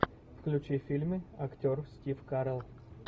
включи фильмы актер стив карелл